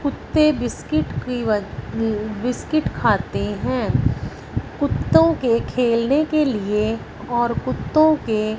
कुत्ते बिस्किट की व बिस्किट खाते हैं कुत्तों के खेलने के लिए और कुत्तों के--